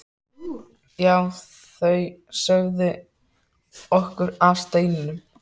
Já, þau sögðu okkur af steininum.